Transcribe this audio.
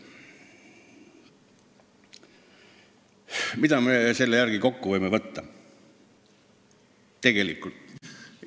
Mida me sellest võime järeldada?